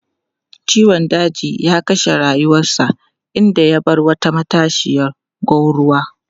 Ciwon daji ya kashe rayuwarsa, inda ya bar wata matashiyar gwanruwa.